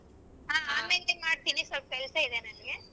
ಹಾ ಆಮೇಲೆ ಮಾಡ್ತೀನಿ ಸೊಲ್ಪ್ ಕೆಲ್ಸ ಇದೆ ನಂಗೆ.